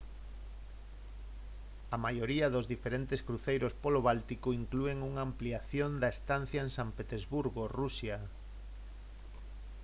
a maioría dos diferentes cruceiros polo báltico inclúen unha ampliación da estancia en san petersburgo rusia